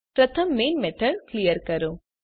પ્રથમ main method clear કરો